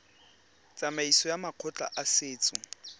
tsamaisong ya makgotla a setso